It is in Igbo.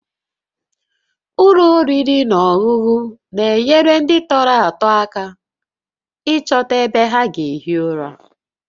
Ụlọ oriri na ọṅụṅụ na-enyere ndị tọrọ atọ aka ịchọta ebe ha ga-ehi ụra